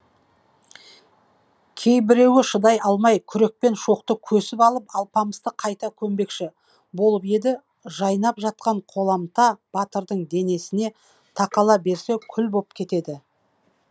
кейбіреуі шыдай алмай күрекпен шоқты көсіп алып алпамысты қайта көмбекші болып еді жайнап жатқан қоламта батырдың денесіне тақала берсе күл боп кетеді